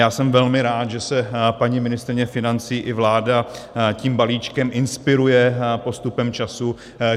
Já jsem velmi rád, že se paní ministryně financí i vláda tím balíčkem inspiruje postupem času.